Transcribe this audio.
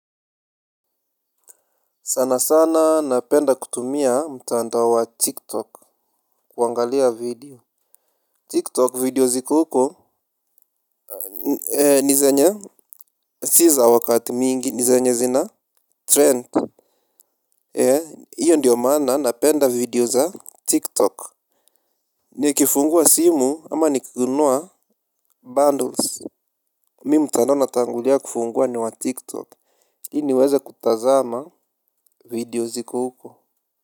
Sana sana napenda kutumia mtandao wa tiktok kuangalia video Tiktok video ziko huko. Eee ni zenye si za wakati mingi ni zenye zina trent. Eee hiyo ndiyo maana napenda video za tiktok. Ni kifungua simu ama nikinunua bundles Mi mtandao natangulia kufungua ni wa tiktok ili niweze kutazama video ziko huko.